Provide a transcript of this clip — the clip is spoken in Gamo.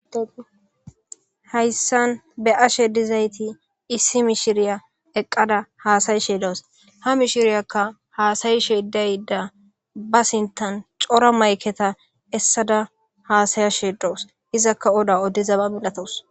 Hayssan be ashe dizayti issi mishiriya eqqada haasayi sheedoos ha mishiriyakka haasayi sheedayda ba sintan cora mayketa essada haasaya sheedowos izakka oda oddizaba milatos